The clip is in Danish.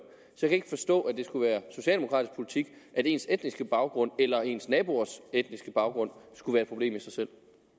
så kan jeg ikke forstå at det skulle være socialdemokratisk politik at ens etniske baggrund eller ens naboers etniske baggrund skulle være et problem i sig selv